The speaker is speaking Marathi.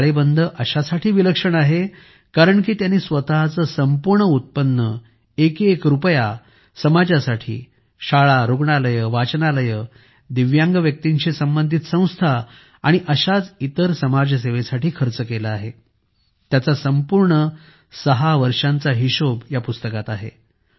हा ताळेबंद अशासाठी विलक्षण आहे कारण की त्यांनी स्वतःचे संपूर्ण उत्पन्न एक एक रुपया समाजासाठी शाळारुग्णालये वाचनालये दिव्यांग व्यक्तींशी संबंधित संस्था आणि अशाच इतर समाजसेवेसाठी खर्च केला आहे त्याचा संपूर्ण 6 वर्षांचा हिशोब या पुस्तकात आहे